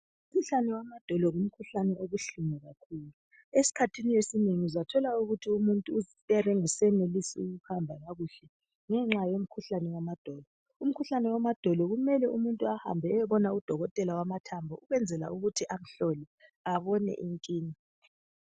Umkhuhlane wamadolo ngumkhuhlane obuhlungu kakhulu .Eskhathini esinengi uzathola ukuthi umuntu uyabe ngasenelisi ukuhamba kakuhle ngenxa yomkhuhlane wamadolo .Umkhuhlane wamadolo kumele umuntu ahambe eyebona udokotela wamathambo ukwenzela ukuthi amhlole abone inkinga .